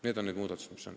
Need on need muudatused.